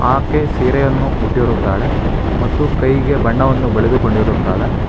ಆಕೆ ಸೀರೆಯನ್ನು ಹುಟ್ಟಿರುತ್ತಾಳೆ ಮತ್ತು ಕೈಗೆ ಬಣ್ಣವನ್ನು ಬಳೆದುಕೊಂಡಿರುತ್ತಾಳೆ.